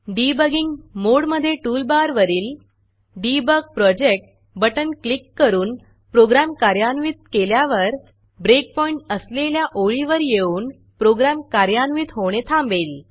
debugging mode मधे टूलबारवरील debug debug project button click करून प्रोग्रॅम कार्यान्वित केल्यावर breakpointब्रेकपॉइण्ट असलेल्या ओळीवर येऊन प्रोग्रॅम कार्यान्वित होणे थांबेल